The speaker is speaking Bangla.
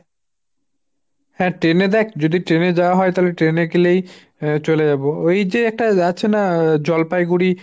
হাঁ ট্রেনে দেখ যদি ট্রেনে যাওয়া হয় তালে ট্রেনে গেলেই চলে যাব। ওই যে একটা যাচ্ছে না জলপাইগুড়ি